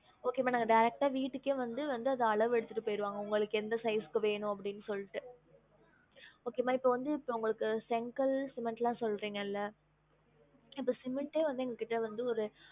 Okay மா நாங்க direct ஆ வீட்டுக்கே வந்து அத அளவு எடுத்துட்டு போயிருவாங்க உங்களுக்கு எந்த size க்கு வேணும் அப்டின்னு சொல்லிட்டு okay மா இப்போ வந்து உங்களுக்கு செங்கல் cement லாம் சொல்றிங்கல்ல இப்போ cement டே வந்து எங்ககிட்ட வந்து ஒரு